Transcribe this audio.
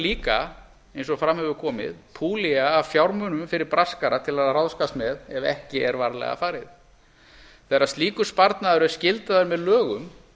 líka eins og fram hefur komið púllía af fjármunum fyrir braskara til að ráðskast með ef ekki er varlega farið þegar slíkur sparnaður er skyldaður með lögum